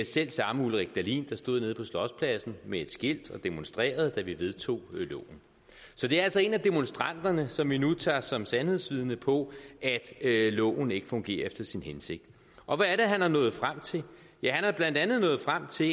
selv samme ulrik dahlin der stod nede på slotspladsen med et skilt og demonstrerede da vi vedtog loven så det er altså en af demonstranterne som vi nu tager som sandhedsvidne på at loven ikke fungerer efter sin hensigt og hvad er det han er nået frem til ja han er blandt andet nået frem til at